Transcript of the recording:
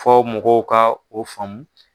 Fɔ mɔgɔw ka o faamu.